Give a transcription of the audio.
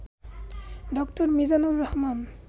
ড. মিজানুর রহমান